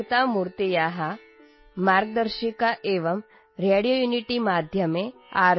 M एकभारतं श्रेष्ठभारतम् अहम् एकतामूर्तेः मार्गदर्शिका एवं रेडियोयुनिटीमाध्यमे आर्